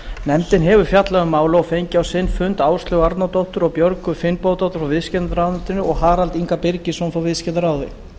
nefndin hefur fjallað um málið og fengið á sinn fund áslaugu árnadóttur og björgu finnbogadóttur frá viðskiptaráðuneyti og harald inga birgisson frá viðskiptaráði